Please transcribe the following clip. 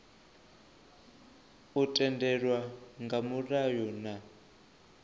u tendelwa nga mulayo na